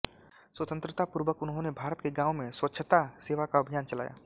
स्वतन्त्रतापूर्व उन्होने भारत के गाँवों में स्वच्छता सेवा का अभियान चलाया